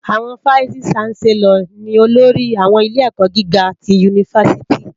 Awòn fáìsí ṣánsèlòr ni ólórì áwòn ilé èkò gigá ti unifásìtí